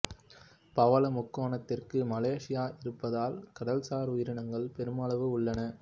பவள முக்கோணத்திற்குள் மலேசியா இருப்பதால் கடல் சார் உயிரினங்களும் பெருமளவில் உள்ளன